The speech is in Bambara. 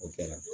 O kɛra